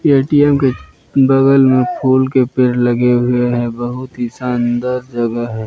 ATM के बगल में फूल के पेड़ लगे हुए हैं बहुत ही शानदार जगह है।